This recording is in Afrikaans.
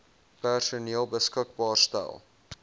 personeel beskikbaar stel